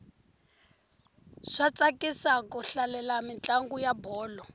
swa tsakisa ku hlalela mintlangu ya bolo